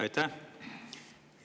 Aitäh!